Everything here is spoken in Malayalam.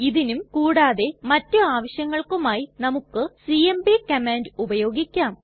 ഇതിനും കൂടാതെ മറ്റു ആവശ്യങ്ങൾക്കുമായി നമുക്ക് സിഎംപി കമാൻഡ് ഉപയോഗിക്കാം